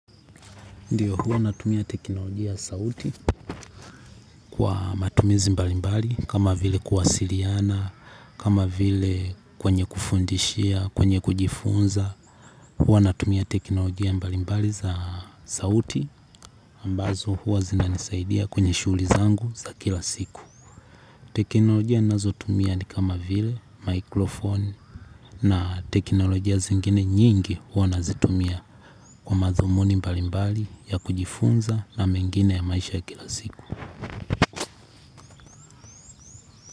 Ndio, huwa natumia teknolojia ya sauti kwa matumizi mbalimbali kama vile kuwasiliana, kama vile kwenye kufundishia, kwenye kujifunza. Huwa natumia teknolojia mbalimbali za sauti ambazo huwa zinanisaidia kwenye shughuli zangu za kila siku. Teknolojia nazo tumia ni kama vile, mikrofon na teknolojia zingine nyingi huwa nazitumia kwa madhumuni mbalimbali ya kujifunza na mengine ya maisha kila siku.